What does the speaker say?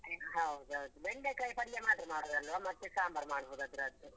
ಹೌದ್ ಹೌದು, ಬೆಂಡೆ ಕಾಯಿ ಪಲ್ಯ ಮಾತ್ರ ಮಾಡುದಲ್ವಾ ಮತ್ತೆ ಸಾಂಬಾರ್ ಮಾಡ್ಬೋದು ಅದ್ರದ್ದು.